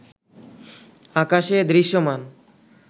আকাশে দৃশ্যমান